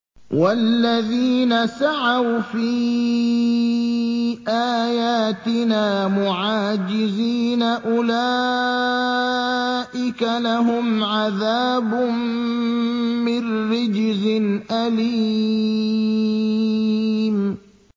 وَالَّذِينَ سَعَوْا فِي آيَاتِنَا مُعَاجِزِينَ أُولَٰئِكَ لَهُمْ عَذَابٌ مِّن رِّجْزٍ أَلِيمٌ